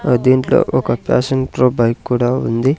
ఆ దీంట్లో ఒక ప్యాషన్ ప్రో బైక్ కూడా ఉంది.